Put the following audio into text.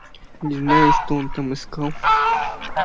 не знаю что он там искал